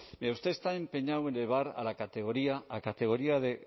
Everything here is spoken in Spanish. mire usted está empeñado en elevar a categoría de